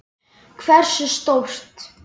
Hversu stórt?